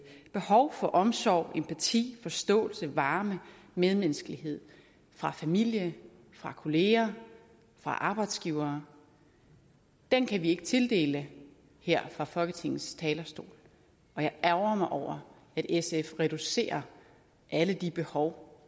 behov for omsorg empati forståelse varme medmenneskelighed fra familie fra kolleger fra arbejdsgivere kan kan vi ikke tildele her fra folketingets talerstol og jeg ærgrer mig over at sf reducerer alle de behov